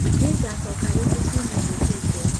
Nĩngacoka rĩngĩ kiumia gĩũkĩte